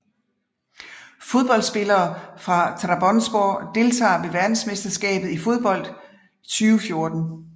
Fodboldspillere fra Trabzonspor Deltagere ved verdensmesterskabet i fodbold 2014